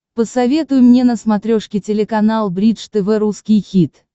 посоветуй мне на смотрешке телеканал бридж тв русский хит